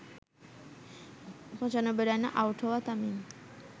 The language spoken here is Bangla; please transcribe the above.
৯৫ রানে আউট হওয়া তামিম